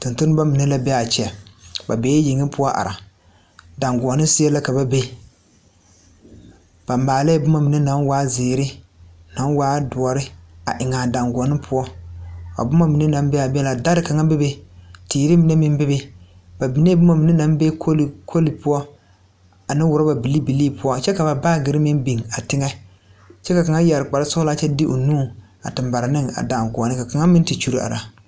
Tontonnema mine la beaa kyɛ ba bee yeŋe poɔ are dagoɔne seɛ la ka ba be ba maalɛɛ bomma mine naŋ waa zeere naŋ waa doɔre a eŋaa dangoɔne poɔ a bomma mine naŋ beeaa be na dɛre kaŋa be be teere mine meŋ bebe ba binee bomma mine naŋ be koli poɔ ane rɔba bilii bilii poɔ kyɛ ka ba baagyirre meŋ biŋ a teŋa kyɛ ka kaŋa yɛre kparesɔglaa kyɛ de o nu a te mare ne a dangoɔne ka kaŋa meŋ te kyule are.